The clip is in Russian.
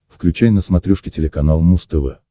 включай на смотрешке телеканал муз тв